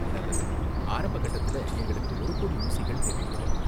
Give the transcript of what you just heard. நல்லது. ஆரம்ப கட்டத்துல எங்களுக்கு ஒரு கோடி ஊசிகள் தேவைப்படும்.